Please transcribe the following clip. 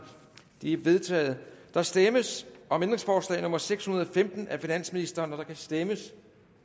de er vedtaget der stemmes om ændringsforslag nummer seks hundrede og femten af finansministeren der kan stemmes